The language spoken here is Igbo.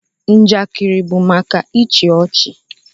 Njakịrị bụ maka ịchị ọchị